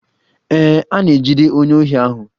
Ee, a na-ejide onye ohi ahụ.